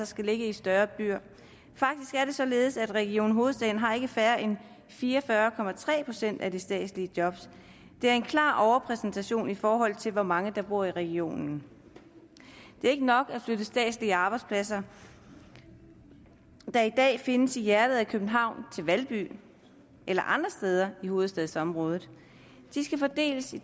skal ligge i større byer faktisk er det således at region hovedstaden har ikke færre end fire og fyrre procent af de statslige job det er en klar overrepræsentation i forhold til hvor mange der bor i regionen det er ikke nok at flytte statslige arbejdspladser der i dag findes i hjertet af københavn til valby eller andre steder i hovedstadsområdet de skal fordeles i